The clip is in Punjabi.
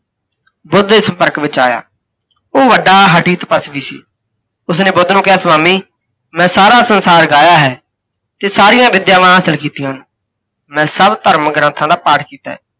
ਬੁੱਧ ਦੇ ਸੰਪਰਕ ਵਿੱਚ ਆਇਆ। ਓਹ ਵੱਡਾ ਹੱਠੀ ਤਪੱਸਵੀ ਸੀ। ਉਸ ਨੇ ਬੁੱਧ ਨੂੰ ਕਿਹਾ, ਸੁਆਮੀ, ਮੈਂ ਸਾਰਾ ਸੰਸਾਰ ਗਾਹਿਆ ਹੈ, ਤੇ ਸਾਰੀਆਂ ਵਿਦਿਆਵਾਂ ਹਾਸਿਲ ਕੀਤੀਆਂ ਹਨ, ਮੈਂ ਸੱਭ ਧਰਮ ਗ੍ੰਥਾਂ ਦਾ ਪਾਠ ਕੀਤਾ ਹੈ।